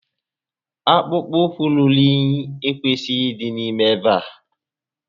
Akpụkpọ ụkwu ruru únyí ekwesịghị ịdị n'ime ebe a